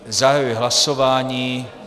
Zahajuji hlasování.